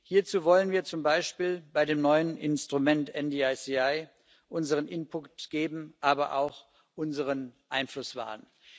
Hierzu wollen wir zum Beispiel bei dem neuen Instrument NDICI unseren Input geben, aber auch unseren Einfluss wahren.